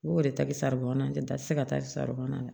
N go o de ta bi saribu na tɛ ta ti se ka taa saribɔn na